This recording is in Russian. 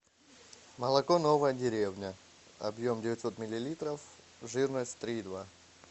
молоко новая деревня объем девятьсот миллилитров жирность три и два